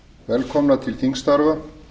velkomna til þingstarfa